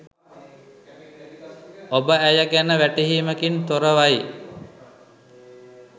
ඔබ ඇය ගැන වැටහීමකින් තොරවයි